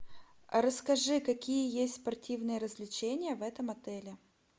расскажи какие есть спортивные развлечения в этом отеле